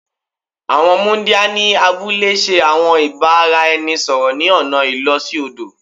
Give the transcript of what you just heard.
Àwọn muńdíá ni abúlé ṣe àwọn ìbáraẹnisọ̀rọ̀ ni ọna ìló sí odò